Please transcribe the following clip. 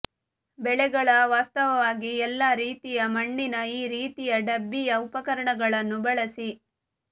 ಬೆಳೆಗಳ ವಾಸ್ತವವಾಗಿ ಎಲ್ಲಾ ರೀತಿಯ ಮಣ್ಣಿನ ಈ ರೀತಿಯ ಡಬ್ಬಿಯ ಉಪಕರಣಗಳನ್ನು ಬಳಸಿ